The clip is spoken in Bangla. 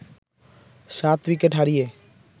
সাত উইকেট হারিয়ে